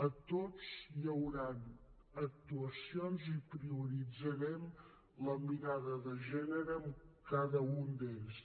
a tots hi hauran actuacions i prioritzarem la mirada de gènere en cada un d’ells